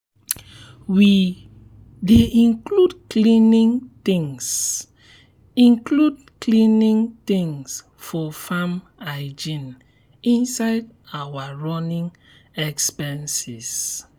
we dey include cleaning things include cleaning things for farm hygiene inside our running expenses.